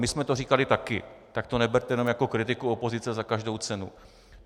My jsme to říkali taky, tak to neberte jenom jako kritiku opozice za každou cenu.